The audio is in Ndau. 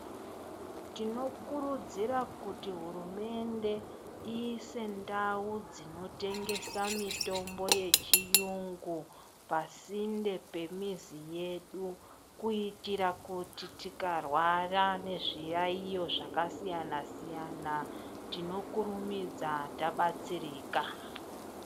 Tinokurudzira kuti hurumende iyise ndau dzinotengesa mitombo , dzechiyungu pasinde nemizi yedu kuitira kuti tikarwara nezviyayiyo zvakasiyana siyana tikurumidze tadetsereka.